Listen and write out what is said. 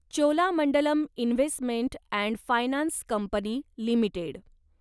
Cholamandalam Investment and Finance Company limited